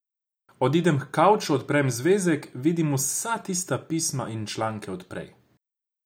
Odidem h kavču, odprem zvezek, vidim vsa tista pisma in članke od prej.